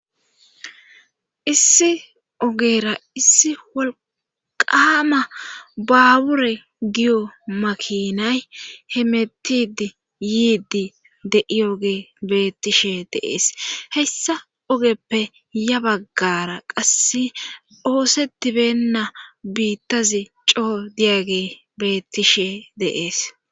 issi ogera issi wolqama baawure giyo makinay he mettidi yiidi de7iyoge bettishe deees hessa ogeppe ya baggara qasse oosetibenna biittazi coo diyage beettishe deees